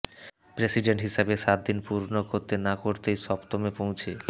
president হিসেবে সাত দিন পূর্ণ করতে না করতেই সপ্তমে পৌঁছে